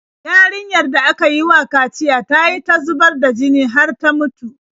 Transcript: Yarinyar da aka yi wa kaciya ta yi ta zubar da jini har ta mutu.